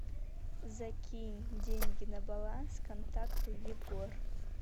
закинь деньги на баланс контакту егор